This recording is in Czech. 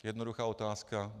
Jednoduchá otázka.